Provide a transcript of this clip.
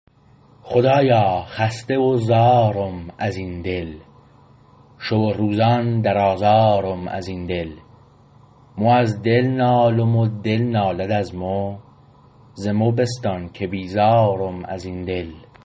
خدایا خسته و زارم ازین دل شو و روزان در آزارم ازین دل مو از دل نالم و دل نالد از مو ز مو بستان که بیزارم ازین دل